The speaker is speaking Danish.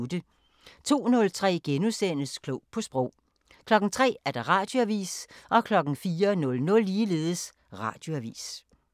02:03: Klog på Sprog * 03:00: Radioavisen 04:00: Radioavisen